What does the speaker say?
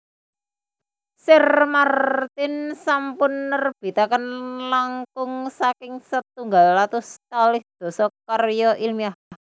Sir Martin sampun nerbitaken langkung saking setunggal atus kalih dasa karya ilmiah